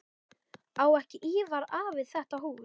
Á ekki Ívar afi þetta hús?